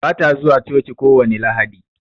Bata zuwa coci kowani Lahadi